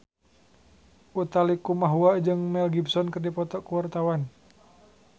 Utha Likumahua jeung Mel Gibson keur dipoto ku wartawan